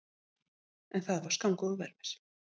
En það var skammgóður vermir.